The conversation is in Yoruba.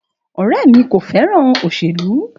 Ọ̀rẹmí ko féràn òsèlú.